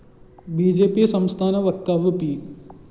B J P സംസ്ഥാന വക്താവ് P